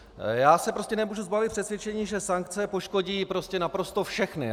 Já se prostě nemůžu zbavit přesvědčení, že sankce poškodí naprosto všechno.